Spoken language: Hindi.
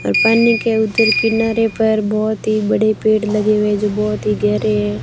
और पानी के उधर किनारे पर बहुत ही बड़े पेड़ लगे हुए जो बहुत ही गहरे है।